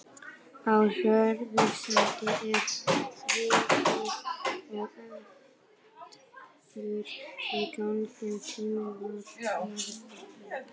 Á Hörgslandi er þríbýli og hefur í gegnum tíðina verið margbýlt.